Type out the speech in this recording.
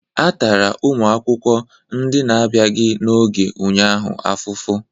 A tara ụmụ akwụkwọ ndị na-abịaghị n'oge ụnyaahụ afufu